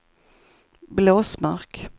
Blåsmark